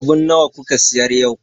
Abun nawa kuka siyar yau?